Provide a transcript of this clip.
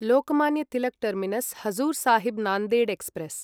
Lokmanya Tilak terminus Hazur Sahib Nanded express